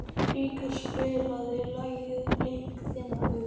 Ríkharð, spilaðu lagið „Blik þinna augna“.